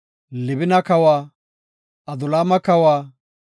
Libina kawa, Adulaama kawa,